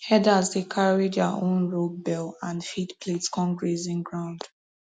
herders dey carry their own rope bell and feed plate come grazing ground